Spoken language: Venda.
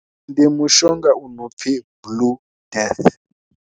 Ndi mushonga u no pfhi Blue death.